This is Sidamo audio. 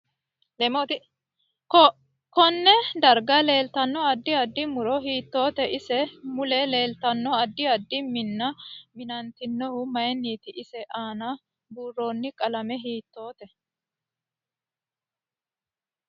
KOnne darga leeltanno addi addi muro hiitoote ise mule leeltanno addi addi minna minantinohu mayiiniti ise aana buurooni qalame hiitoote